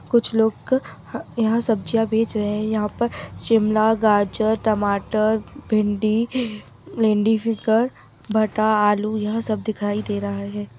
कुछ लोग यहाँ सब्जियाँ बेच रहे हैं यहाँ पे शिमला गाजर टमाटर भिंडी लेडीज फिगर भाटा आलू यह सब दिखाई दे रहा है।